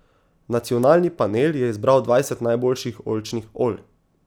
Nacionalni panel je izbral dvajset najboljših oljčnih olj.